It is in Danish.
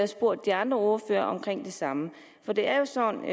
spurgt de andre ordførere om det samme for det er jo sådan i